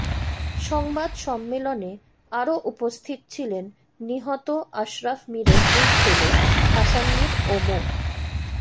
সংবাদ সম্মেলনে আরো উপস্থিত ছিলেন নিহত আশরাফ মীরের দুই ছেলে হাসান মীর ও মো